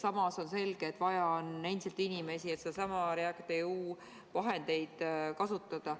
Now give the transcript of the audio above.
Samas on selge, et vaja on endiselt inimesi, et neid REACT-EU vahendeid kasutada.